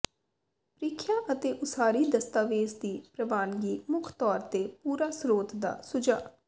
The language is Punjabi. ਪ੍ਰੀਖਿਆ ਅਤੇ ਉਸਾਰੀ ਦਸਤਾਵੇਜ਼ ਦੀ ਪ੍ਰਵਾਨਗੀ ਮੁੱਖ ਤੌਰ ਤੇ ਪੂਰਾ ਸਰੋਤ ਦਾ ਸੁਝਾਅ